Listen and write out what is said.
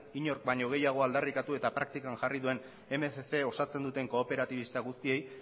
inork baino gehiago aldarrikatu eta praktikan jarri duen mila berrehun osatzen duten kooperatibista guztiei